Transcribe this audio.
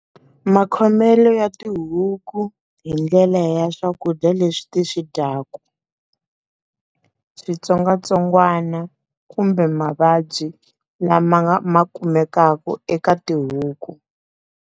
Makhomele ya tihuku hi ndlela ya swakudya leswi ti swi dyaka, switsongwatsongwana kumbe mavabyi lama nga ma kumekaka eka tihuku.